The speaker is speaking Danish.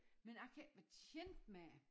Men jeg kan ikke være tjent med det